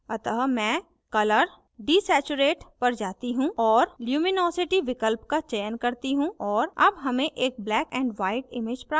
अतः मैं colour desaturate पर जाती हूँ और luminosity विकल्प का चयन करती हूँ और अब हमें एक black and white image प्राप्त होती है